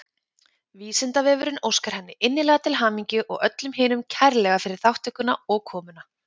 Vísindavefurinn óskar henni innilega til hamingju og öllum hinum kærlega fyrir þátttökuna og komuna.